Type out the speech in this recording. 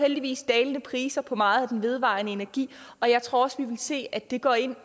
heldigvis dalende priser på meget af den vedvarende energi og jeg tror også vi vil se at det går ind